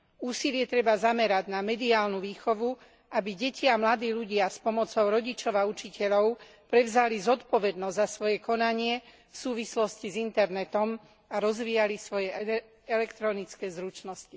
Úsilie treba zamerať na mediálnu výchovu, aby deti a mladí ľudia s pomocou rodičov a učiteľov prevzali zodpovednosť za svoje konanie v súvislosti s internetom a rozvíjali svoje elektronické zručnosti.